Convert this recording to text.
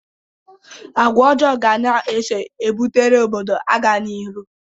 Agwa ọjọọ ga na-eso ebutere obodo agaghị n'iru.